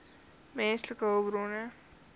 menslike hulpbronne